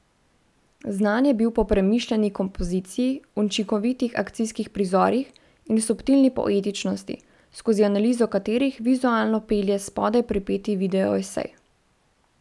Znan je bil po premišljeni kompoziciji, učinkovitih akcijskih prizorih in subtilni poetičnosti, skozi analizo katerih vizualno pelje spodaj pripeti video esej.